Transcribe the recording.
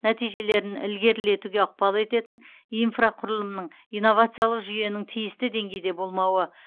нәтижелерін ілгерілетуге ықпал ететін инфрақұрылымның инновациялық жүйенің тиісті деңгейде болмауы